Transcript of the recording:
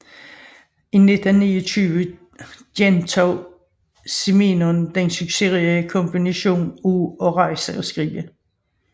I 1929 genoptog Simenon den succesrige kombination af at rejse og skrive